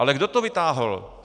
Ale kdo to vytáhl?